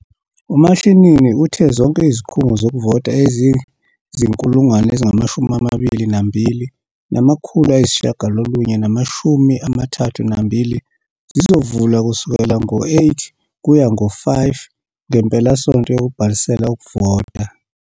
UMashinini uthe zonke izikhungo zokuvota eziyizi-22 932 zizovula kusukela ngo-08h00 ukuya ngo-17h00 ngempelasonto yokubhalisela ukuvota.